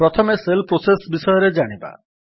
ପ୍ରଥମେ shell process ବିଷୟରେ ଜାଣିବା